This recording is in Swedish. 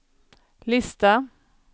lista